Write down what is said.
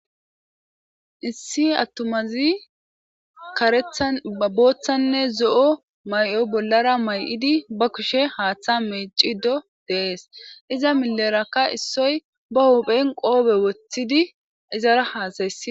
issi attomazi karethan abooththanne zo7o may7oy bollara may7idi ba kushe haaththa meecido deees iza milerakka issoy ba hophen qoobe woththidi izara haasayessi